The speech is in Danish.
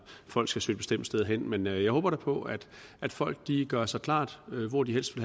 at folk skal søge et bestemt sted hen men jeg håber da på at folk gør sig klart hvor de helst